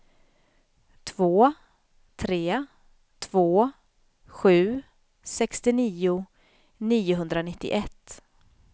två tre två sju sextionio niohundranittioett